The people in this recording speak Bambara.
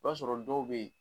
I b'a sɔrɔ dɔw bɛ yen.